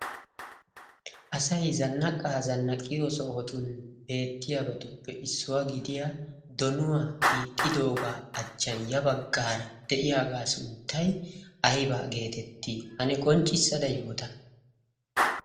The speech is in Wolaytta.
asai zannaqqaa zannaqiyo sohotun beettiyaabatuppe issuwaa gidiya donuwaa xiixxidoogaa achchan ya baggaara de'iyaagaa sunttay aybaa geetettii? hane qonccissada yoota?